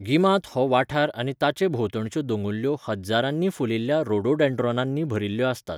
गिमांत हो वाठार आनी ताचे भोंवतणच्यो दोंगुल्ल्यो हज्जारांनी फुलिल्ल्या रोडोडेंड्रॉनांनी भरिल्ल्यो आसतात.